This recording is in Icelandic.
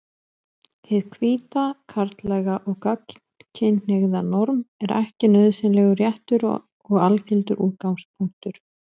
Hið hvíta, karllæga og gagnkynhneigða norm er ekki nauðsynlega réttur og algildur útgangspunktur.